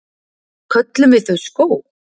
Köllum við þau skóg?